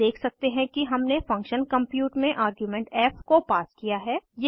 आप देख सकते हैं कि हमने फंक्शन कम्प्यूट में आर्ग्यूमेंट फ़ को पास किया है